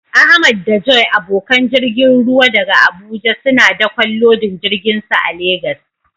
Ahmad da Joy, abokan jirgin ruwa daga Abuja, suna dakon lodin jirginsu a Legas.